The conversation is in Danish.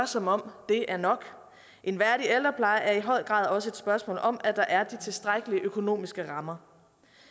som om det er nok en værdig ældrepleje er i høj grad også et spørgsmål om at der er de tilstrækkelige økonomiske rammer